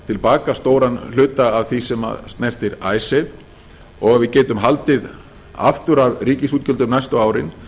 til baka stóran hluta af því sem snertir icesave og ef við getum haldið aftur af ríkisútgjöldum næstu árin